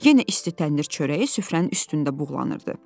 Yenə isti təndir çörəyi süfrənin üstündə buğlanırdı.